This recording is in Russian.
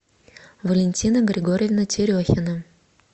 валентина григорьевна терехина